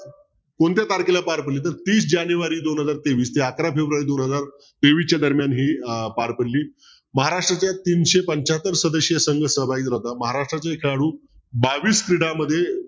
कोणत्या तारखेला पार पडली तर तीस जानेवारी दोन हजार तेवीस ते अकरा फेब्रुवारी दोन हजार तेवीस च्या दरम्यान ती पार पडली महाराष्ट्रातल्या तीनशे पंचाहत्तर सहभागी होता महाराष्ट्राचे खेळाडू बावीस क्रीडा मध्ये